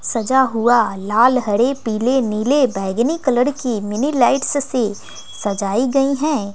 सजा हुआ लाल हरे पीले नीले बैंगनी कलर की मिनी लाइट्स से सजाई गई हैं।